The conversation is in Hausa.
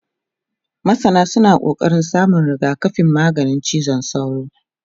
masana suna ƙoƙarin samun rigakafin maganin cizon sauro